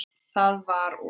Það var og.